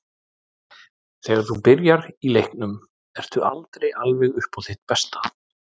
Þegar þú byrjar í leiknum ertu aldrei alveg upp á þitt besta.